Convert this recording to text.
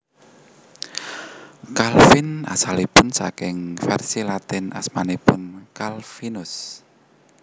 Calvin asalipun saking vèrsi Latin asmanipun Calvinus